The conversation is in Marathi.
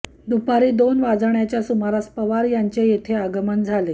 दुपारी दोन वाजण्याच्या सुमारास पवार यांचे येथे आगमन झाले